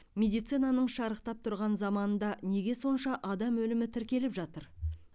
медицинаның шарықтап тұрған заманында неге сонша адам өлімі тіркеліп жатыр